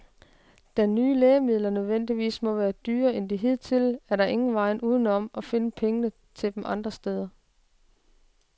Da nye lægemidler nødvendigvis må være dyrere end de hidtidige, er der ingen vej uden om at finde pengene til dem andre steder.